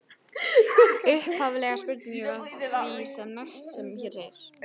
Upphafleg spurning var því sem næst sem hér segir: